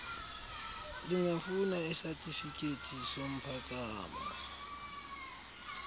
lingafuna isatifikethi somphakamo